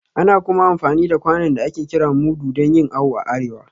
Ana kuma amfani da kwanon da ake kira mudu dan yin awo a arewa